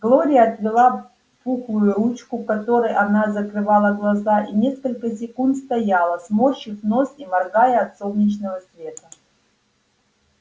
глория отвела пухлую ручку которой она закрывала глаза и несколько секунд стояла сморщив нос и моргая от солнечного света